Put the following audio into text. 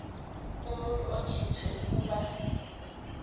umuntu okhethwe ukuba